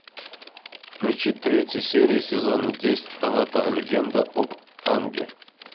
включи третью серию сезона десять аватар легенда об аанге